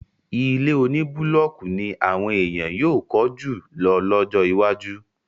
Ilé oní búlọ́kì ní àwọn èèyàn yóò kọ́ jù lọ lọ́jọ́ iwájú.